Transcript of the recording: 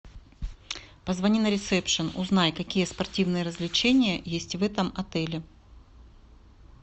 позвони на ресепшн узнай какие спортивные развлечения есть в этом отеле